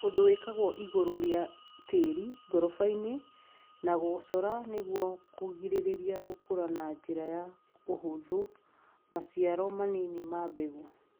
ũndũ wĩkagwo igũrũ rĩa tĩri ngoroba-inĩ na gũcora nĩguo kũrigĩrĩria gũkũra na njĩra ya ũhuthũ maciaro manini ma mbegũ